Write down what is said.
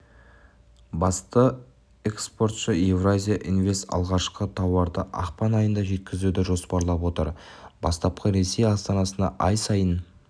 басты экспортшы евразия инвест алғашқы тауарды ақпан айында жеткізуді жоспарлап отыр бастапқыда ресей астанасына ай сайын